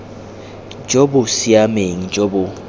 jo bo siameng jo bo